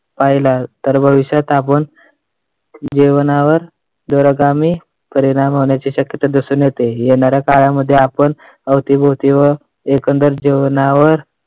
पाहिला, तर भविष्यात आपण जीवनावर दुर्गामी परिणाम होण्याची शक्यता दिसून येते. येणाऱ्या काळामध्ये आपण अवतीभवती एकंदरीत जीवनावर